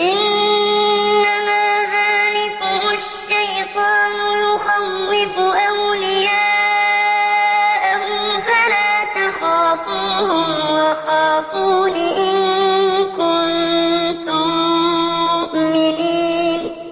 إِنَّمَا ذَٰلِكُمُ الشَّيْطَانُ يُخَوِّفُ أَوْلِيَاءَهُ فَلَا تَخَافُوهُمْ وَخَافُونِ إِن كُنتُم مُّؤْمِنِينَ